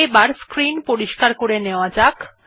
এবার স্ক্রিন পরিস্কার করে নেওয়া যাক